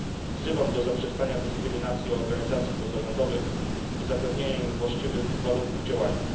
Wzywam do zaprzestania dyskryminacji organizacji pozarządowych i zapewnienia im właściwych warunków działania.